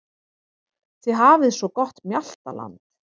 Þið hafið svo gott mjaltaland.